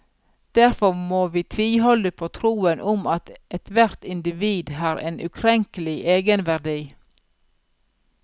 Derfor må vi tviholde på troen om at ethvert individ har en ukrenkelig egenverdi.